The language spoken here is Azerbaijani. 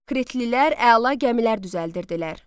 Kritlilər əla gəmilər düzəldirdilər.